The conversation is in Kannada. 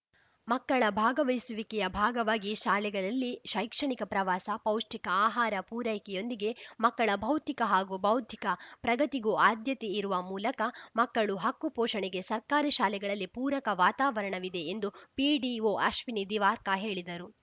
ಮಕ್ಕಳ ಭಾಗವಹಿಸುವಿಕೆಯ ಭಾಗವಾಗಿ ಶಾಲೆಗಳಲ್ಲಿ ಶೈಕ್ಷಣಿಕ ಪ್ರವಾಸ ಪೌಷ್ಟಿಕ ಆಹಾರ ಪೂರೈಕೆಯೊಂದಿಗೆ ಮಕ್ಕಳ ಭೌತಿಕ ಹಾಗೂ ಬೌದ್ಧಿಕ ಪ್ರಗತಿಗೂ ಆದ್ಯತೆ ಇರುವ ಮೂಲಕ ಮಕ್ಕಳು ಹಕ್ಕು ಪೋಷಣೆಗೆ ಸರ್ಕಾರಿ ಶಾಲೆಗಳಲ್ಲಿ ಪೂರಕ ವಾತಾವರಣವಿದೆ ಎಂದು ಪಿಡಿಒ ಅಶ್ವಿನಿ ದಿವಾರ್ಕ ಹೇಳಿದರು